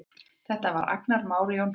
Þetta var Agnar Már Jónsson.